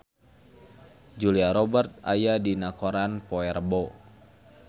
Julia Robert aya dina koran poe Rebo